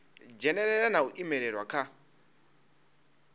dzhenelela na u imelelwa kha